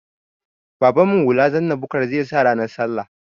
Babanmu hula zanna bukar zai sa ranar sallah